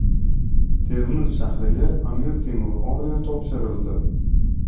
Termiz shahriga Amir Temur ordeni topshirildi.